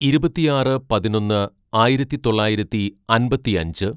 "ഇരുപത്തിയാറ് പതിനൊന്ന് ആയിരത്തിതൊള്ളായിരത്തി അമ്പത്തിയഞ്ച്‌